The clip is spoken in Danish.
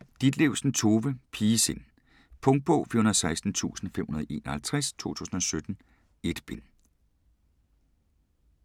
Ditlevsen, Tove: Pigesind Punktbog 416551 2017. 1 bind.